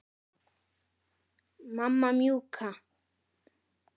Mamma mjúka.